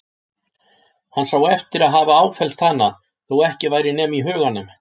Hann sá eftir að hafa áfellst hana, þó ekki væri nema í huganum.